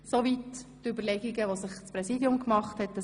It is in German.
Soweit die Überlegungen des Präsidiums.